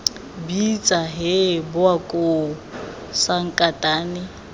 bitsa hee bowa koo sankatane